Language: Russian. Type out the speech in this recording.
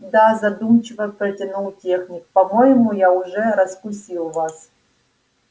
да задумчиво протянул техник по-моему я уже раскусил вас